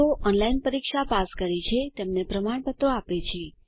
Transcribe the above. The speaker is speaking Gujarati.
જેઓ ઓનલાઇન પરીક્ષા પાસ કરે છે તેમને પ્રમાણપત્ર આપે છે